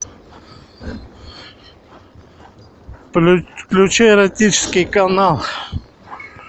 включи эротический канал